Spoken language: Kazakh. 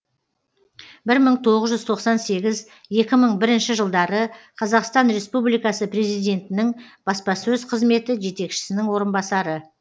бір мың тоғыз жүз тоқсан сегіз екі мың бірінші жылдары қазақстан республикасы президентінің баспасөз қызметі жетекшісінің орынбасары